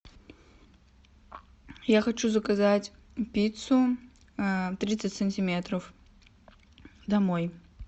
я хочу заказать пиццу тридцать сантиметров домой